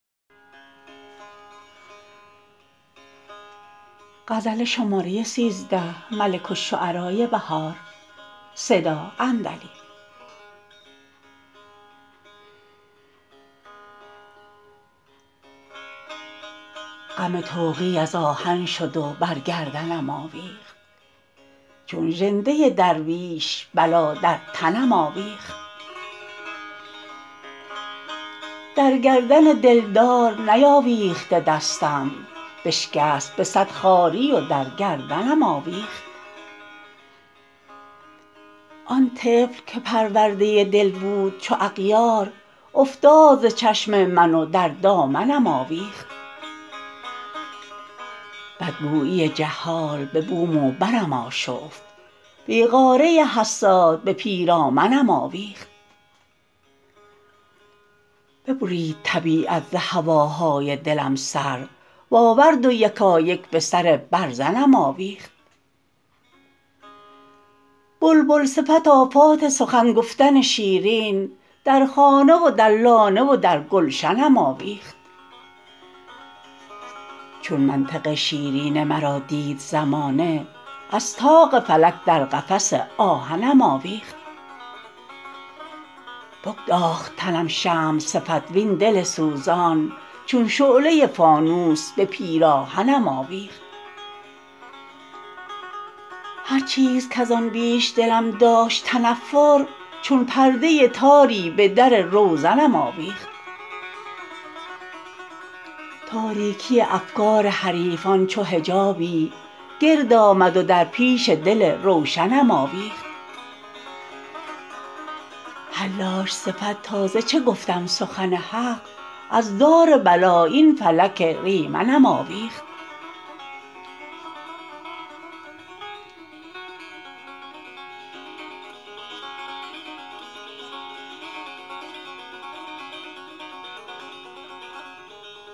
غم طوقی از آهن شد و برگردنم آویخت چون ژنده درویش بلا در تنم آویخت درگردن دلدار نیاویخته دستم بشکست به صد خواری و در گردنم آویخت آن طفل که پرورده دل بود چو اغیار افتاد ز چشم من و در دامنم آویخت بدگوبی جهال به بوم و برم آشفت بیغاره حساد به پیرامنم آویخت ببرید طبیعت ز هواهای دلم سر وآورد ویکایک به سر برزنم آوبخت بلبل صفت آفات سخن گفتن شیرین در خانه و در لانه و درگلشنم آویخت چون منطق شیرین مرا دید زمانه از طاق فلک در قفس آهنم آویخت بگداخت تنم شمع صفت وین دل سوزان چون شعله فانوس به پیراهنم آوبخت هر چیزکزان بیش دلم داشت تنفر چون پرده تاری به در روزنم آوبخت تاربکی افکار حریفان چو حجابی گرد آمد و درییش دل روشنم آوبخت حلاج صفت تا ز چه گفتم سخن حق از دار بلا این فلک ریمنم آویخت